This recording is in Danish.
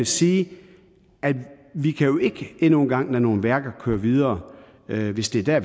sige at vi jo ikke endnu en gang kan lade nogle værker kører videre hvis det er der